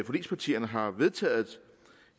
forligspartierne har vedtaget